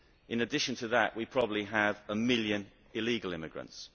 In addition to that, we probably have one million illegal immigrants.